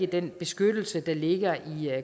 den beskyttelse der ligger i